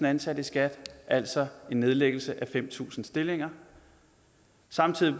ansatte i skat altså en nedlæggelse af fem tusind stillinger samtidig